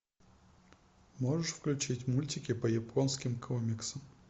можешь включить мультики по японским комиксам